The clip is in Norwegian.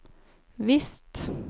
visst